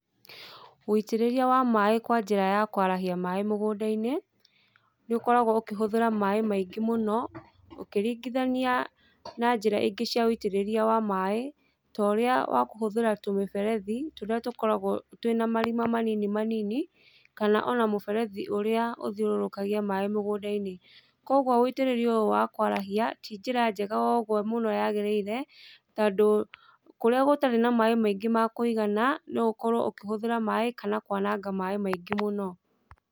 Ũitĩrĩria wa maĩ kwa njĩra ya kwarahia maĩ mũgũnda-inĩ nĩ ũkoragwo ũkũhũthĩra maĩ maingĩ mũno ũkĩringithania na njĩra ingĩ cia ũitĩrĩria wa maĩ tũrĩa wa kũhũthĩra tũmĩberethi tũrĩa tũkoragwo twĩna marima manini manini kana ona mũberethi ũrĩa ũthiororokagia maĩ mũgũnda-inĩ. Koguo ũitĩrĩria ũyũ wa kwarahia nĩ njĩra njega ũguo mũno yagĩrĩire tondũ kũrĩa gũtarĩ na maĩ maingĩ ma Kũigana no ũkorwo ũkĩhũthĩra maĩ kana kwananga maĩ maingĩ mũno.